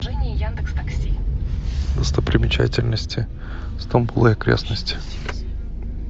достопримечательности стамбул и окрестности